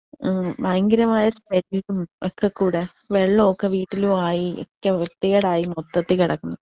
ഏഹ് ഭയങ്കരമായ not clear ഒക്കെ കൂടെ വെള്ളൊക്കെ വീട്ടിലുവായി ഏറ്റ വൃത്തികേടായി മൊത്തത്തി കെടക്കുന്നു.